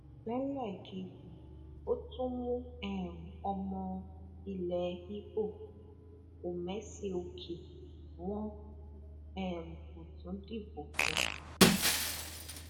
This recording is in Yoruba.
lélẹẹkejì ó tú mú um ọmọ ilẹ ibo ọmèsìókè wọn um kò tún dìbò fún un